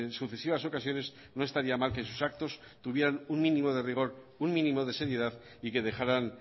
sucesivas ocasiones no estaría mal que sus actos tuvieran un mínimo de rigor un mínimo de seriedad y que dejaran